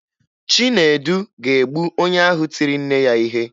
Chinedu ga-egbu onye ahụ tiri nne ya ihe